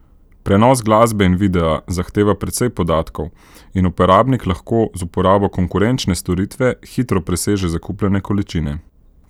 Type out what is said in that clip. Prenos glasbe in videa zahteva precej podatkov in uporabnik lahko z uporabo konkurenčne storitve hitro preseže zakupljene količine.